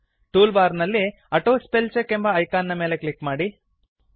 tool bar ನಲ್ಲಿ auto spell check ಎಂಬ icon ನ ಮೇಲೆ ಕ್ಲಿಕ್ ಮಾಡಿ